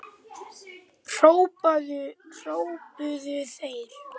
hrópuðu þeir.